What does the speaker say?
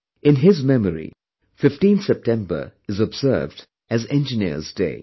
In his memory, 15th September is observed as Engineers Day